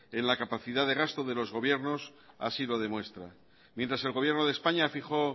en la capacidad de gasto de los gobiernos así lo demuestra mientras el gobierno de españa fijó